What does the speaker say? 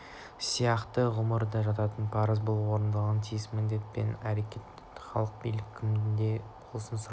сияқты ұғымдар да жатады парыз бұл орындалуға тиіс міндет пен әрекет халық билік кімде болса сұрау